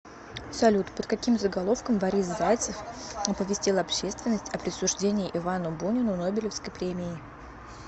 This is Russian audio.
салют под каким заголовком борис зайцев оповестил общественность о присуждении ивану бунину нобелевской премии